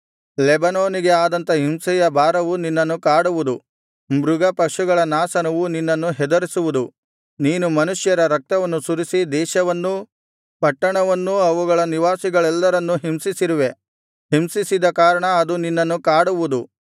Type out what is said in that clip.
ಲೆಬನೋನಿಗೆ ಆದಂಥ ಹಿಂಸೆಯ ಬಾರವು ನಿನ್ನನ್ನು ಕಾಡುವುದು ಮೃಗಪಶುಗಳ ನಾಶನವು ನಿನ್ನನ್ನು ಹೆದರಿಸುವುದು ನೀನು ಮನುಷ್ಯರ ರಕ್ತವನ್ನು ಸುರಿಸಿ ದೇಶವನ್ನೂ ಪಟ್ಟಣವನ್ನೂ ಅವುಗಳ ನಿವಾಸಿಗಳೆಲ್ಲರನ್ನೂ ಹಿಂಸಿಸಿರುವೆ ಹಿಂಸಿಸಿದ ಕಾರಣ ಅದು ನಿನ್ನನ್ನು ಕಾಡುವುದು